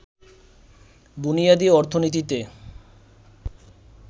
বুনিয়াদী অর্থনীতিতে